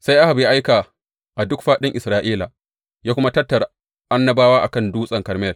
Sai Ahab ya aika a duk fāɗin Isra’ila, ya kuma tattara annabawan a kan Dutsen Karmel.